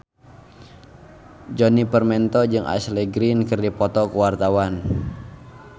Djoni Permato jeung Ashley Greene keur dipoto ku wartawan